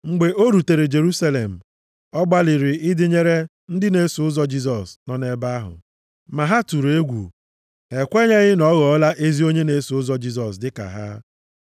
Mgbe o rutere Jerusalem, ọ gbalịrị ịdịnyere ndị na-eso ụzọ Jisọs nọ nʼebe ahụ, ma ha tụrụ egwu. Ha ekwenyeghị na ọ ghọọla ezi onye na-eso ụzọ Jisọs dịka ha.